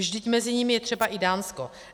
Vždyť mezi nimi je třeba i Dánsko.